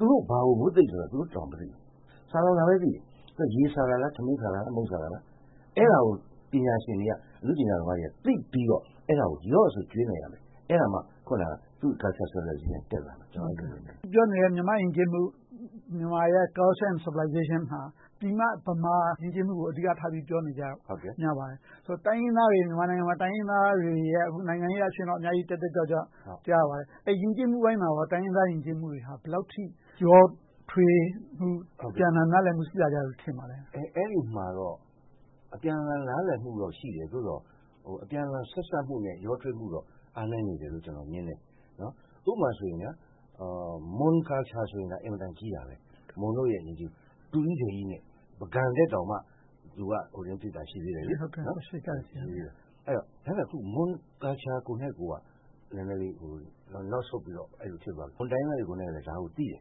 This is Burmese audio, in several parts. သူတို့ ဘာကိုမွတ်သိပ်နေလဲဆိုတာ သူတို့ မသိဘူး။ ဆာလောင်တာပဲသိတယ် - ရေဆာတာလား။ ထမင်းဆာတာလား။ မုန့်ဆာတာလား။ အဲဒါကို ပညာရှင်တွေက၊ အနုပညာရှင်တွေက သိပြီးတော့ ရော့ဆိုပြီး ပေးနိုင်ရမယ်။ အဲဒါမှ သူ့ Culturalism က တက်လာမယ်။ ကျနော် အဲဒီလိုမြင်တယ်။ အခုပြောနေတဲ့ မြန်မာ့ယဉ်ကျေးမှု မြန်မာရဲ့ Culture and Civilization ဟာ ပြည်မမြန်မာယဉ်ကျေးမှုကို အဓိကထား ပြောနေကြတာ များပါတယ်။ မြန်မာနိုင်ငံမှာ တိုင်းရင်းသားတွေရဲ့ အခုဆိုရင် နိုင်ငံရေးအရ တက်တက်ကြွကြွ အများကြီးတွေ့ရပါတယ်။ ယဉ်ကျေးမှုပိုင်းမှာ တိုင်းရင်းသားယဉ်ကျေးမှုတွေဟာ ဘယ်လောက်အထိ ရောထွေးမှု အပြန်အလှန်နားလည်မှု ရှိလာကြတယ်လို့ ထင်ပါလဲ။ အဲဒီမှာတော့ အပြန်အလှန် နားလည်မှုတော့ ရှိတယ်။ သို့သော် အပြန်အလှန် ဆက်စပ်မှုနဲ့ ရောထွေးမှုတော့ အားနည်းနေသေးတယ်လို့ ကျနော်မြင်တယ်။ ဥပမာ မွန်ယဉ်ကျေးမှု ဆိုရင် အင်မတန်ကြီးတာ။ မွန်တို့ရဲ့ ယဉ်ကျေးမှု။ ဒုကြီးဒယ်ကြီးနဲ့ ပုဂံထက်တောင် သူက ရှေ့ကျတယ်။ အခုတော့ မွန်ယဉ်ကျေးမှုကိုက နည်းနည်းလေး နောက်ဆုတ်သွားတယ်။ မွန်တိုင်းရင်းသားတွေလည်း ဒါကို သိတယ်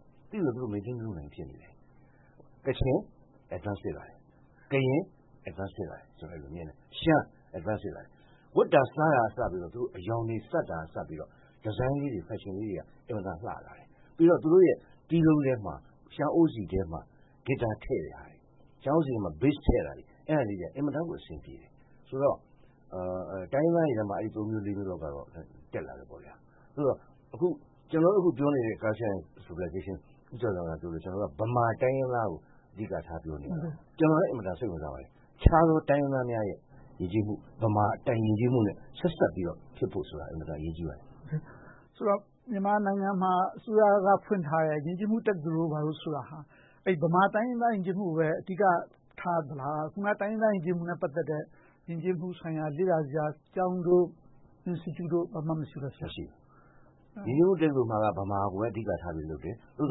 ။ သိပြီးတော့ သူတို့ ထိန်းသိမ်းမှု မလုပ်နိုင်ဖြစ်နေတယ်။ ကချင်၊ ကရင် ရှေ့တိုး ဖြစ်လာတယ်။ ရှမ်းလည်း ရှေ့တိုး ဖြစ်လာတယ်။ ဝတ်တာစားတာကအစ အရောင်တွေစပ်တာကစပြီးတော့ ဒီဇိုင်းလေးတွေ၊ ဖက်ရှင်လေးတွေက အင်မတန် လှလာတယ်။ ပြီးတော့ သူတို့ရဲ့ တီးလုံးထဲမှာ ရှမ်းအိုးစည်ထဲမှာ ဂစ်တာထည့်ထားတယ်။ ရှမ်းအိုးစည်ထဲမှာ ဘေ့စ် ထည့်ထားတယ်။ အဲဒါလေးတွေက အင်မတန်ကို အဆင်ပြေတယ်။ ဆိုတော့ တိုင်းရင်းသားတွေထဲမှာ အဲဒီ သုံးလေးမျိုးလောက်ကတော့ တက်လာတယ်။ သို့သော် ကျနော်တို့ အခုပြောလာတဲ့ Culture and Civilization - ဦးကျော်ဇံသာ ပြောသလို ဗမာတိုင်းရင်းသားကို အဓိကထား ပြောနေခဲ့တယ်။ ကျနော်လည်း အင်မတန် စိတ်ဝင်စားပါတယ်။ တခြားသော တိုင်းရင်းသားများရဲ့ ယဉ်ကျေးမှုက ဗမာယဉ်ကျေးမှုနဲ့ ဆက်စပ်ဖြစ်ဖို့ဆိုတာ အင်မတန် အရေးကြီးပါတယ်။ ဆိုတော့ မြန်မာနိုင်ငံမှာ အစိုးရက ဖွင့်ထားတဲ့ ယဉ်ကျေးမှုတက္ကသိုလ်တို့ ဘာတို့ဆိုတာ ဗမာတိုင်းရင်းသား ယဉ်ကျေးမှုကိုပဲ အဓိကထားသလား။ တိုင်းရင်းသားယဉ်ကျေးမှုနဲ့ ပတ်သက်တဲ့ ယဉ်ကျေးမှုဆိုင်ရာ လေ့လာစရာ ကျောင်းတို့၊ Institute တို့ ဘာမှမရှိဘူး။ ယဉ်ကျေးမှုတက္ကသိုလ်မှာ ဗမာကိုပဲ အဓိကထားလုပ်တယ်။ သို့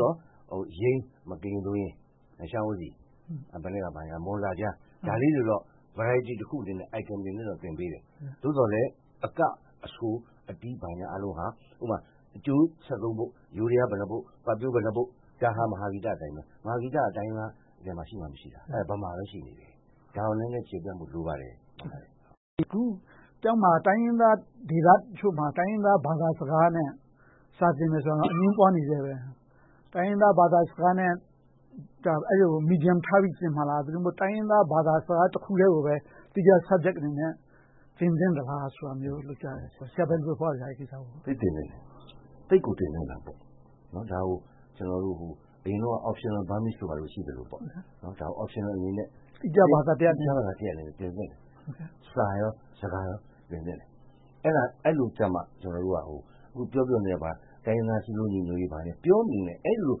သော် ယိမ်း - ဥပမာ ကရင်ဒုံယိမ်း။ ရှမ်းအိုးစည်။ မွန်အက - ဒါတွေကိုတော့ Variety တခုအနေနဲ့ Item တခုအနေနဲ့ သင်ပေးတယ်။ သို့သော်လဲ အက၊ အဆို၊ အတီး ဘာညာအားလုံးဟာ ဥပမာ ကြိုး ပုဒ်၊ ယိုးဒယား ဘယ်နှစ်ပုဒ်၊ ပတ်ပျို ဘယ်နှစ်ပုဒ်၊ မဟာဂီတအတိုင်း။ မဟာဂီတ က တိုင်းရင်းသားထဲမှာ ရှိမှမရှိတာ။ အဲဒါ ဗမာမှာပဲ ရှိတာ။ ဒါကို နည်းနည်းကျယ်ပြန့်ဖို့ လိုပါတယ်။ အခု တိုင်းရင်းသားဒေသတချို့မှာ တိုင်းရင်းသားဘာသာစကားနဲ့ စာသင်မယ်ဆိုတာ အငြင်းပွားနေဆဲ။ တိုင်းရင်းသားဘာသာစကားနဲ့ အဲဒါကို Medium ထားပြီး သင်မှာလား။ ဒါမှမဟုတ် တိုင်းရင်းသားဘာသာစကားတခုတည်းကိုပဲ သီးခြား Subject အနေနဲ့ သင်သင့်သလား ဆိုတာမျိုး အဲဒီလိုမျိုးကြားတယ်။ ဆရာ အဲဒီအပေါ် ဘယ်လိုသဘောရလဲ။ သိပ်သင်သင့်တယ်။ သိပ်ကို သင်သင့်တာပေါ့။ ဒါကို အရင်တုန်းက Optional Burmese တို့ ဘာတို့ ရှိသလို။ ဒါကို Optional အနေနဲ့ သီးခြားဘာသာရပ်တခုအနေနဲ့ သင်သင့်တယ်။ စာ၊ စကား နှစ်ခုလုံး သင်သင့်တယ်။ အဲဒီလိုမှ အခုပြောပြောနေတဲ့ တိုင်းရင်းသားစည်းလုံးညီညွှတ်ရေး ဘာညာပြောမနေနဲ့ - အဲဒီလို ပ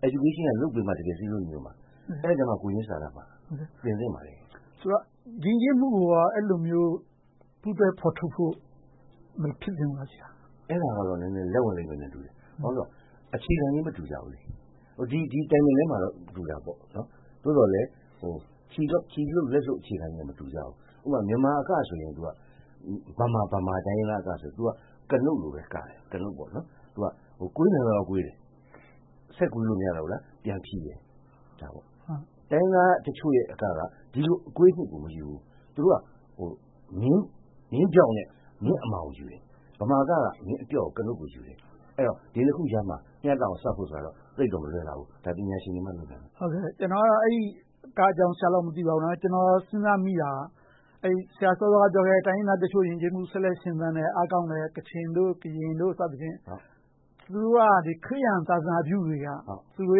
ညာရေး က လုပ်ပေးမှ စည်းလုံးညီညွှတ်မှာ။ အဲဒီအခါမှ ကိုယ်ချင်စာနာတတ်မှာ။ သင့်သင်ပါတယ်။ ဆိုတော့ ယဉ်ကျေးမှုကို အဲဒီလိုမျိုး ပူးတွဲဖော်ထုတ်ဖို့ မဖြစ်သင့်ဘူးလား။ အဲဒါကတော့ နည်းနည်းလက်ဝင်လိမ့်မယ်ထင်တယ်။ ဘာဖြစ်လို့လဲဆိုတော့ အခြေခံချင်း မတူညီကြဘူး။ ဒီ Timing ထဲမှာတော့ တူတာပေါ့။ သို့သော်လဲ ခြေလှုပ်လက်လှုပ် အခြေခံချင်းတော့ မတူညီကြဘူး။ ဥပမာ မြန်မာအကဆိုရင် ဗမာ-ဗမာ တိုင်းရင်းသားအကဆိုရင် ကနုတ်လိုပဲ ကတယ်။ ကွေးနိုင်သလောက် ကွေးတယ်။ ဆက်ကွေးလို့ မရတော့ဘူးလား - ပြန်ဖြေတယ်။ တိုင်းရင်းသားတချို့ရဲ့ အက က ဒီလို အကွေးအညွှတ်ကို မယူဘူး။ သူတို့က မျဉ်းဖြောင့်နဲ့ အမာကို ယူတယ်။ ဗမာအက က မျဉ်းအပျော့ ကနုတ်ကိုယူတယ်။ အဲဒီတော့ ဒီနှစ်ခုကြားမှာ မျှတအောင် ပေါင်းစပ်ဖို့ဆိုတာ သိပ်တော့မလွယ်လှဘူး။ ဒါကို ပညာရှင်တွေမှ လုပ်နိုင်မှာ။ ကျနော်က အကအကြောင်း ဆရာလောက်တော့ မသိပါဘူး။ ကျနော် စဉ်းစားမိတာ ဆရာစောစောက ပြောခဲ့တဲ့ တိုင်းရင်းသားတချို့ ယဉ်ကျေးမှု ဆက်လက်ရှင်သန်နေတဲ့ ကချင်၊ ကရင်တို့က ခရစ်ယာန်သာသနာပြုတွေက သူတို့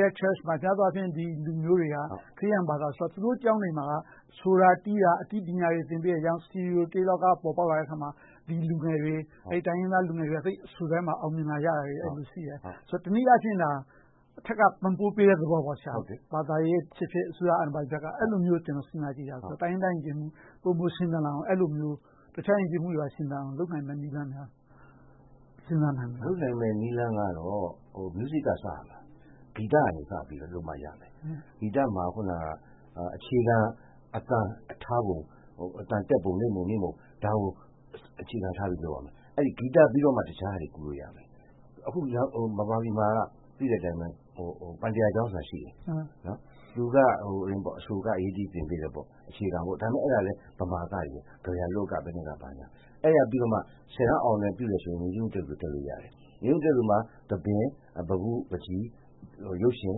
ရဲ့ ဘုရားကျောင်း မှာ များသောအားဖြင့် လူမျိုးတွေက ခရစ်ယာန်ဘာသာဆိုတာ သူတို့ကျောင်းတွေမှာ ဆိုတာ၊ တီးတာ၊ အတီးပညာတွေ သင်ပေးတယ်။ စတူဒီယို တေးလောက ပေါ်ပေါက်လာတဲ့အခါ ဒီလူငယ်တွေ တိုင်းရင်းသားလူငယ်တွေက အဆိုထဲမှာ သိပ်အောင်မြင်လာကြတယ်။ အဲဒီလိုရှိတယ်။ တနည်းအားဖြင့် အထက်က ပံ့ပိုးပေးတဲ့သဘော။ ဘာသာရေးဖြစ်ဖြစ်၊ အစိုးရဘက်က အဲဒီလိုမျိုး စဉ်းစားကြည့်တာပါ။ တိုင်းရင်းသားယဉ်ကျေးမှု ပိုမိုရှင်သန်လာအောင် အဲဒီလိုမျိုး တခြားယဉ်ကျေးမှုတွေ ရှင်သန်လာအောင် လုပ်နိုင်မယ့်နည်းလမ်းများ စဉ်းစားနိုင်မလား။ လုပ်နိုင်မယ့် နည်းလမ်းကတော့ Music က စရမှာ။ ဂီတ က စပြီးတော့လုပ်မှ ရမယ်။ ဂီတာမှာ အခုန အခြေခံအသံထားပုံ၊ အသံတက်ပုံ၊ အသံမြင့်ပုံနိမ့်ပုံ ဒါကို အခြေခံထားပြီး လုပ်ရမယ်။ ဂီတပြီးတော့မှ တခြားဟာတွေ ကူးလို့ရမယ်။ အခု ဗမာပြည်မှာက သိတဲ့အတိုင်း ပန်တျာကျောင်းဆိုတာရှိတယ်။ အဆို၊ အက၊ အရေး၊ အတီး သင်ပေးတယ်။ အခြေခံ - အဲဒါလည်း ဗမာအကတွေနဲ့ ကဗျာလွတ် ဘာညာ။ အဲဒါပြီးတော့မှ ဆယ်တန်းအောင်တယ်ဆိုရင် ယဉ်ကျေးမှုတက္ကသိုလ် တက်လို့ရတယ်။ ယဉ်ကျေးမှုတက္ကသိုလ်မှာ သဘင်၊ ပန်းပု၊ ပန်းချီ၊ ရုပ်ရှင်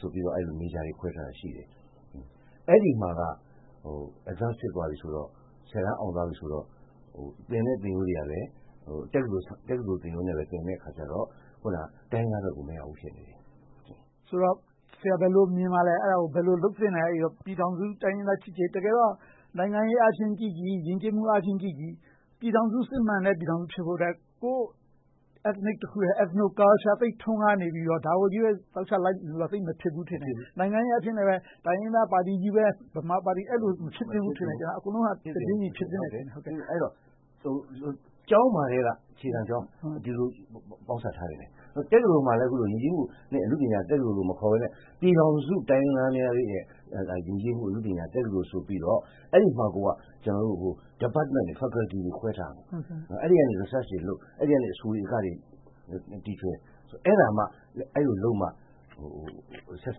ဆိုပြီး ခွဲထားတာရှိတယ်။ အဲဒီမှာက Advance ဖြစ်သွားပြီဆိုတော့ ဆယ်တန်းအောင်သွားပြီဆိုတော့ သင်တဲ့သင်ရိုးတွေကလည်း တက္ကသိုလ်သင်ရိုးနဲ့ သင်တဲ့အခါကြတော့ တိုင်းရင်းသားဘက်ကိုမရောက်ဘူး ဖြစ်နေတယ်။ ဆိုတော့ ဆရာ ဘယ်လို မြင်ပါလဲ။ ဘယ်လို လုပ်သင့်လဲ။ ပြည်ထောင်စုတိုင်းရင်းသား ချစ်ကြည်ရေး - တကယ်တော့ နိုင်ငံရေးအားဖြင့်ကြည့်ကြည့်၊ ယဉ်ကျေးမှုအားဖြင့်ကြည့်ကြည့် စစ်မှန်တဲ့ပြည်ထောင်စု ဖြစ်ပေါ်ဖို့အတွက် ကိုယ့်လူမျိုး Ethnic – Ethnocultural သိပ်ထွန်းကားနေပြီး ဒါကိုပဲ ဇောက်ချလုပ်နေရင် မဖြစ်ဘူးလို့ထင်တယ်။ နိုင်ငံရေးအားဖြင့်လည်း တိုင်းရင်းသားပါတီပဲ၊ ဗမာပါတီ အဲဒီလို မဖြစ်သင့်ဘူးထင်တယ်။ အကုန်လုံးဟာ တပြေညီတည်း ဖြစ်သင့်တယ်ထင်တယ်။ ကျောင်း - အခြေခံကျောင်းမှာကတည်းက ပေါင်းစပ်ထားသင့်တယ်။ တက္ကသိုလ်မှာလည်း ယဉ်ကျေးမှုတက္ကသိုလ်လို့ မခေါ်ဘဲနဲ့ ပြည်ထောင်စုတိုင်းရင်းသားတို့ရဲ့ ယဉ်ကျေးမှုတက္ကသိုလ်ဆိုပြီးတော့ အဲဒီမှာ Department တွေ၊ Faculty တွေ ခွဲထားသင့်တယ်။ အဲဒီကနေ Research တွေလုပ်၊ အဲဒီကနေ အဆိုတွေ၊ အကတွေ တီထွင်။ အဲဒါမှ အဲဒီလိုလုပ်မှ ဆက်စ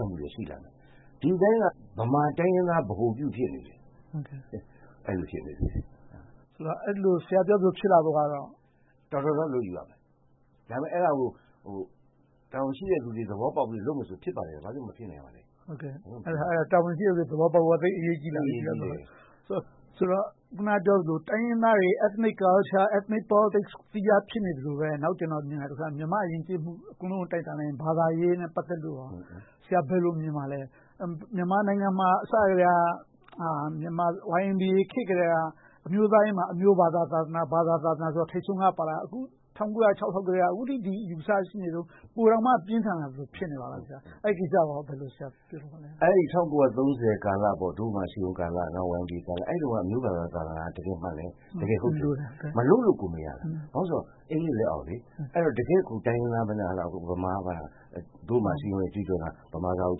ပ်မှုတွေ ရှိမယ်။ ဒီအတိုင်းက ဗမာတိုင်းရင်းသား ဗဟိုပြု ဖြစ်နေတယ်။ ဆရာပြောသလို ဖြစ်လာဖို့ကတော့ အတော်လေး လုပ်ယူရမယ်။ အဲဒါကို တာဝန်ရှိတဲ့လူတွေ သဘောပေါက်ပြီး လုပ်မယ်ဆိုရင် ဖြစ်ပါတယ်။ ဘာဖြစ်လို့ မဖြစ်နိုင်ရမှာလဲ။ တာဝန်ရှိတဲ့လူတွေ သဘောပေါက်ဖို့က သိပ်အရေးကြီးတယ်။ ဆိုတော့ အခုနပြောသလို တိုင်းရင်းသားတွေ Ethnic Culture, Ethnic Politics သီးခြားဖြစ်နေသလိုပဲ နောက် ကျနော်မြင်တာက မြန်မာ့ယဉ်ကျေးမှု အကုန်လုံးကို တိုင်းတာလိုက်ရင် ဘာသာရေးနဲ့ ပတ်သက်လို့ ဆရာ ဘယ်လို မြင်ပါလဲ။ မြန်မာနိုင်ငံမှာ အစကတည်းက YMBA ခေတ်ကတည်းက အမျိုးသားရေးမှာ အမျိုးဘာသာ၊ သာသနာဆိုတာ ထိပ်ဆုံးက ပါလာတာ။ အခု ၁၉၀၆ လောက်ကတည်းက အခုထိ ဒီအယူအဆရှိလာခဲ့တာ ပိုလိုတောင် ပြင်းထန်လာတယ် ဖြစ်နေပါလား။ အဲဒီကိစ္စကို ဆရာ ဘယ်လို သုံးသပ်ပြောလိုပါလဲ။ ၁၉၃၀ ကာလ ဒို့ဗမာအစည်းအရုံးကာလ၊ နောက် YMBA ကာလမှာ အမျိုးဘာသာ သာသနာက တကယ်မှန်တယ်။ မလုပ်လို့ကို မရတာ။ ဘာဖြစ်လို့လဲဆိုတော့ အင်္ဂလိပ်လက်အောက်လေ။ တကယ့်ကို တိုင်းရင်းသား၊ ဗမာဆိုပြီး ဒို့ဗမာအစည်းအရုံး ကြွေးကြော်သံက “ဗမာစာကို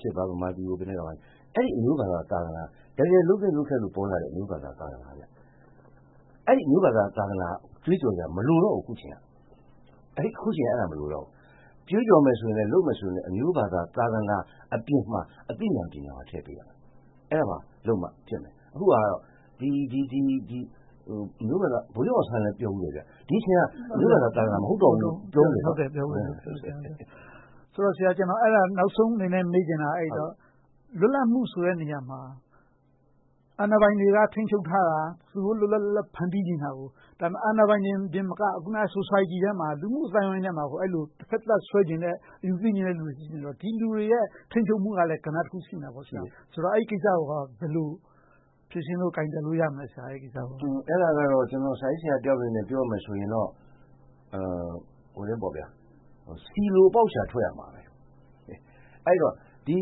ချစ်ပါ၊ ဗမာပြည်ကို …” အဲဒီ အမျိုးဘာသာ သာသနာက တကယ်လုပ်သင့်လုပ်ထိုက်လို့ ပေါ်လာတဲ့ ဘာသာ သာသနာ။ အဲဒီလို အမျိုးဘာသာ သာသနာ ကြွေးကြော်စရာ အခု မလိုတော့ဘူး။ ကြွေးကြော်မယ်ဆိုရင်လဲ၊ လုပ်မယ်ဆိုရင်လဲ အမျိုးဘာသာ သာသနာ အပြင်၊ အသိဉာဏ်ပညာလည်း ထည့်ပေးရမယ်။ အဲဒီလိုလုပ်မှ ဖြစ်မယ်။ အခုက ဗိုလ်ချုပ်အောင်ဆန်းလည်း ပြောဖူးတယ် - ဒီအချိန်ဟာ အမျိုးဘာသာ သာသနာ မဟုတ်တော့ဘူးလို့ ပြောဖူးတယ်။ နောက်ဆုံးအနေနဲ့ မေးချင်တာက အဲဒီတော့ လွတ်လပ်မှုဆိုတဲ့ နေရာမှာ အာဏာပိုင်တွေက ထိန်းချုပ်ထားတာ၊ သူတို့ လွတ်လွတ်လပ်လပ် ဖန်တီးချင်တာကို အာဏာပိုင်တွေသာမက အခုန Society လူမှုအသိုင်းအဝိုင်းထဲမှာ အဲဒီလို တဘက်သတ် ဆွဲချင်တဲ့ အယူသည်းနေတဲ့ လူတွေနဲ့ ဒီလူတွေရဲ့ ထိန်းချုပ်မှုကလဲ ကဏ္ဍတခု ရှိနေတာပေါ့။ အဲဒီကိစ္စကို ဘယ်လို ဖြေရှင်းလို့ ကိုင်တွယ်လို့ ရမလဲ။ အဲဒါကတော့ ကျနော် စာရေးဆရာတယောက်အနေနဲ့ ပြောရမယ်ဆိုရင်တော့ ဆီလိုအပေါက်ရှာ ထွက်ရမှာ။ ဒီ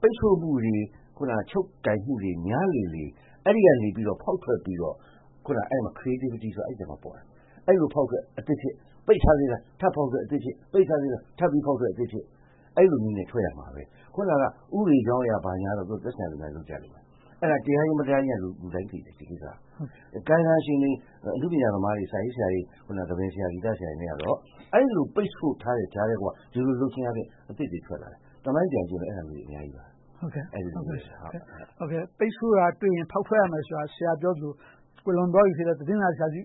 ပိတ်စို့မှုတွေ၊ ချုပ်ကိုင်မှုတွေ များလေလေ အဲဒီကနေ ဖောက်ထွက်ပြီးတော့ အဲဒီအထဲမှာ Creativity ဆိုတာ အဲဒီအထဲမှာပါတာ။ အဲဒီလိုဖောက်ထွက် အသစ်ဖြစ်၊ ပိတ်ထားလိုက်၊ ထပ်ဖောက်ထွက် အသစ်ဖြစ်။ ပိတ်ထားသေးလား။ ထပ်ပြီးဖောက်ထွက် အသစ်ဖြစ် - အဲဒီလိုနည်းနဲ့ ထွက်ရမှာ။ အခုန ဥပဒေကြောင်းအရ ဘာညာကတော့ သက်ဆိုင်ရာလူတွေ လုပ်ကြလိမ့်မယ်။ အဲဒါ တရားလား၊ မတရားလား လူတိုင်းသိတယ်။ ကာယကံရှင်လူတွေ၊ အနုပညာသမားတွေ၊ စာရေးဆရာတွေ၊ သဘင်ဆရာတွေ၊ ဂီတဆရာတွေကတော့ အဲဒီလို ပိတ်စို့ထားတဲ့ကြားက ဒီလိုလုပ်တဲ့ကြားက အသစ်တွေထွက်လာတယ်။ သမိုင်းပြည်ကြည့်လည်း အဲဒီလိုမျိုးတွေ အများကြီးပါ။ ပိတ်စို့တာတွေ့ရင် ဖောက်ထွက်ရမယ်ဆိုတာ ဆရာပြောသလို ကွယ်လွန်သွားပြီဖြစ်တဲ့ သတင်းစာဆရာကြီး